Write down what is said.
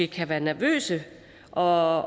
kan være nervøse og